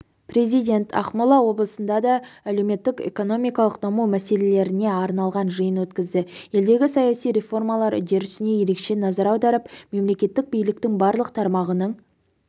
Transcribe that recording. президент ақмола облысында да әлеуметтік-экономикалық даму мәселелеріне арналған жиын өткізді елдегі саяси реформалар үдерісіне ерекше назар аударып мемлекеттік биліктің барлық тармағының